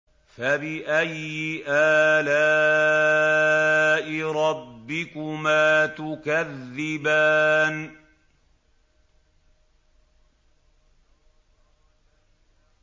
فَبِأَيِّ آلَاءِ رَبِّكُمَا تُكَذِّبَانِ